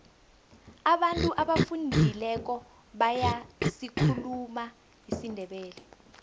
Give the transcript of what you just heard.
abantu abafundileko bayasikhuluma isindebele